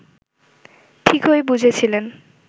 ঠিকই বুঝেছিলেন